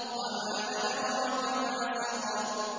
وَمَا أَدْرَاكَ مَا سَقَرُ